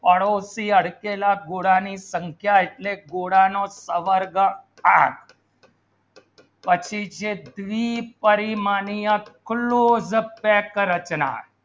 ગાંઠોની અડકેલા ગુનાની સંખ્યા એટલે ગુનાનો વર્ગ આઠ અપચી જે દ્વીપ પરિમાણીય closeup છે રચના